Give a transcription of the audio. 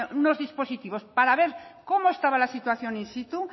unos dispositivos para ver cómo estaba la situación in situ